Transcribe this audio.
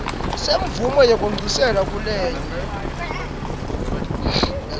semvumo yekwengciselwa kulenye